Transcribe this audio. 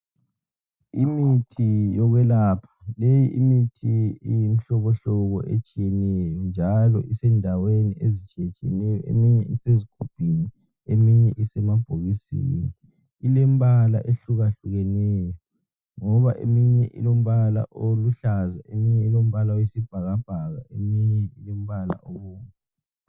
Imithi yokwelapha. Leyi imithi iyimihlobohlobo etshiyeneyo. Njalo isendaweni ezitshiyetshiyeneyo. Eminye isezigubhini, eminye isemabhokisini. Ilembala eyehlukehlukeneyo. Ngoba eminye ilombala oluhlaza, eminye ilombala oyisibhakabhaka eminye ilombala obomnvu.